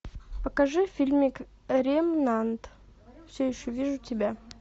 покажи фильмик ремнант все еще вижу тебя